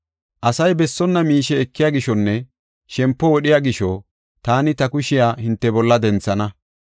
“Asay bessonna miishe ekiya gishonne shempo wodhiya gisho, taani ta kushiya hinte bolla denthana.